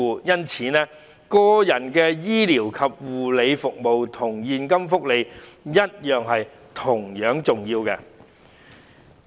因此，個人醫療和護理服務與現金福利同樣重要。